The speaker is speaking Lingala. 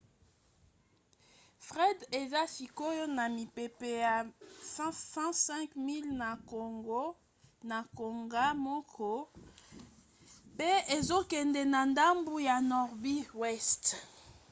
fred eza sikoyo na mipepe ya 105 miles na ngonga moko 165 km/h pe ezokende na ndambo ya nordi weste